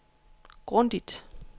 grundigt